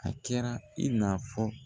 A kɛra i na fɔ